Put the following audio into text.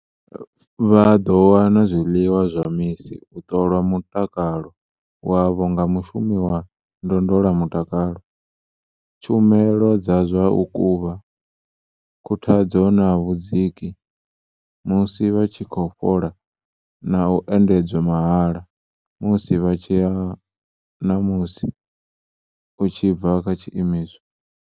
Vha ḓo wana zwiḽiwa zwa misi, u ṱolwa mutakalo wavho nga mushumi wa ndondolamutakalo, tshumelo dza zwa u kuvha, khuthadzo na vhudziki musi vha tshi khou fhola na u endedzwa mahala musi vha tshi ya na musi u tshi bva kha tshiimiswa.